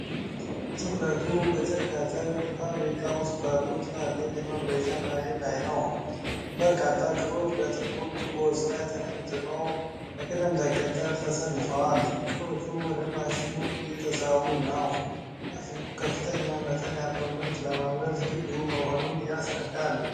ትኩረቱ በጨርቃጨርቅ ፋብሪካ ውስጥ ባለው ትልቅ የማምረቻ ማሽን ላይ ነው። በርካታ ክሮች በጥቁር ቱቦዎች ላይ ተጠምጥመው በቅደም ተከተል ተሰልፈዋል። ክሮቹ ወደ ማሽኑ እየተሳቡ ነው። ማሽኑ ከፍተኛ መጠን ያለው ምርት ለማምረት ዝግጁ መሆኑን ያስረዳል።